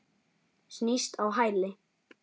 Snýst á hæli.